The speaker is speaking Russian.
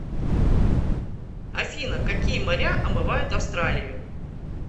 афина какие моря омывают австралию